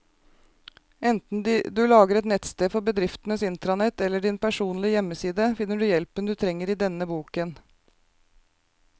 Enten du lager et nettsted for bedriftens intranett eller din personlige hjemmeside, finner du hjelpen du trenger i denne boken.